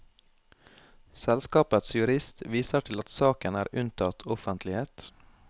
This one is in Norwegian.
Selskapets jurist viser til at saken er unntatt offentlighet.